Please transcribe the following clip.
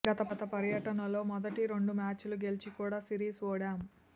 గత పర్యటనలో మొదటి రెండు మ్యాచ్లు గెలిచి కూడా సిరీస్ ఓడాం